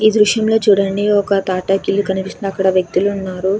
ఈ దృశ్యం లో చూడండి ఒక తాటాకు ఇల్లు కనిపిస్తుంది అక్కడ వ్యక్తులు ఉన్నారు.